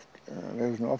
oft